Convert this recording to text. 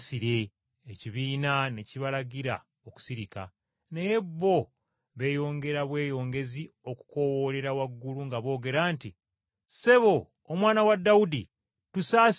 Ekibiina ne kibalagira okusirika, naye bo, ne beeyongera bweyongezi okukoowoolera waggulu nga boogera nti, “Ssebo, Omwana wa Dawudi, tusasire.”